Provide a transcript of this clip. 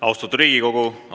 Austatud Riigikogu!